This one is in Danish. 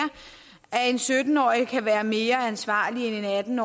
at en sytten årig kan være mere ansvarlig end en atten